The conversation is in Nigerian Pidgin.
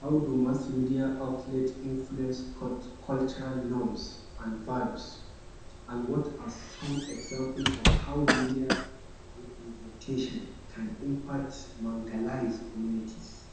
How do mass media outlet influence cultural norms an values, an what are some example of how media representation can impart communities?